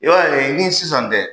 I b'a ye ni sisan tɛ,